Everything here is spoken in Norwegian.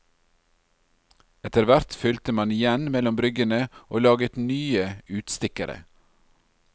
Etter hvert fylte man igjen mellom bryggene, og laget nye utstikkere.